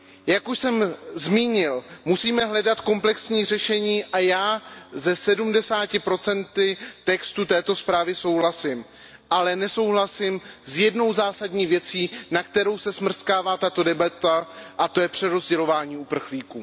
Jak už jsem zmínil, musíme hledat komplexní řešení a já se 70 textu této zprávy souhlasím, ale nesouhlasím s jednou zásadní věcí, na kterou se smrskává tato debata, a to je přerozdělování uprchlíků.